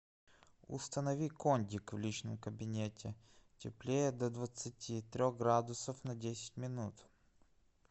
установи кондик в личном кабинете теплее до двадцати трех градусов на десять минут